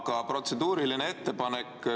Aga protseduuriline ettepanek.